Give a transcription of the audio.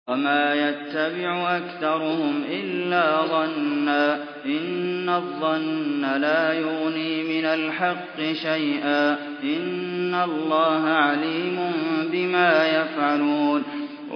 وَمَا يَتَّبِعُ أَكْثَرُهُمْ إِلَّا ظَنًّا ۚ إِنَّ الظَّنَّ لَا يُغْنِي مِنَ الْحَقِّ شَيْئًا ۚ إِنَّ اللَّهَ عَلِيمٌ بِمَا يَفْعَلُونَ